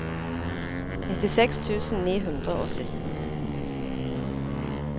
nittiseks tusen ni hundre og sytten